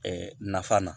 nafa na